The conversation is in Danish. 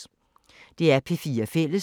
DR P4 Fælles